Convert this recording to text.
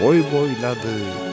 Boy boyladı.